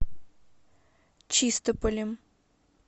чистополем